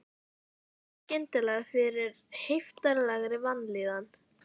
Ég fann skyndilega fyrir heiftarlegri vanlíðan.